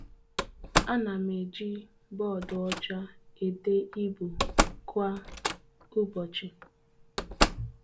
Anam eji bọọdụ ọcha ede ibu kwa ụbọchi.